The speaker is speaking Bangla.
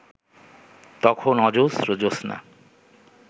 তখন অজস্র জ্যোৎস্না